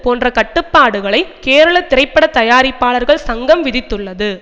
போன்ற கட்டுப்பாடுகளை கேரள திரைப்பட தயாரிப்பாளர்கள் சங்கம் விதித்துள்ளது